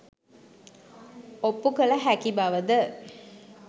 ඔප්පු කළ හැකි බවද?